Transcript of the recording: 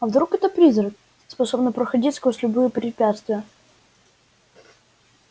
а вдруг это призрак способный проходить сквозь любые препятствия